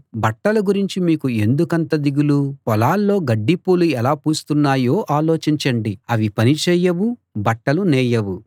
బట్టల గురించి మీకు ఎందుకంత దిగులు పొలాల్లో గడ్డిపూలు ఎలా పూస్తున్నాయో ఆలోచించండి అవి పని చేయవు బట్టలు నేయవు